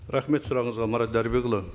рахмет сұрағыңызға марат дәрібекұлы